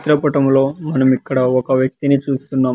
చిత్రపటంలో మనము ఇక్కడ ఒక వ్యక్తి ని చూస్తున్నాం.